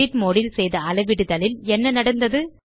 edit mode ல் செய்த அளவிடுதலில் என்ன நடந்தது